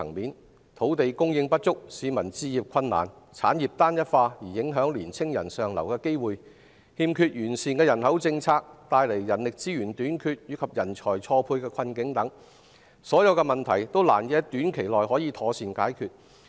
相關的問題包括土地供應不足、市民置業困難，產業單一化影響青年人上流的機會，人口政策有欠完善，造成人力資源短缺及人才錯配困境等，這些問題都難以在短期內妥善解決。